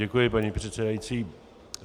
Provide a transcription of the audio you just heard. Děkuji, paní předsedající.